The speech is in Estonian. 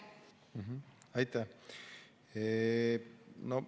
Aitäh!